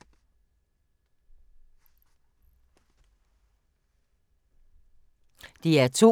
DR2